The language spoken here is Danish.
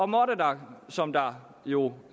måtte der som der jo